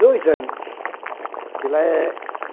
Dois anos. Que lá é